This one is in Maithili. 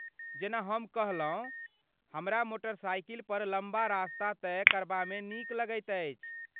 जेना हम कहलहुँ, हमरा मोटरसाइकिल पर लम्बा रास्ता तय करबा मे नीक लगैत अछि।